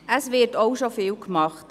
Es wird auch schon vieles gemacht.